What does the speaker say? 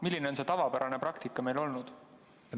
Milline on see tavapärane praktika meil olnud?